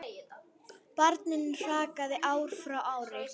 Barninu hrakaði ár frá ári.